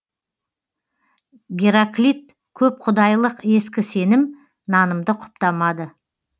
гераклит көпқұдайлық ескі сенім нанымды құптамады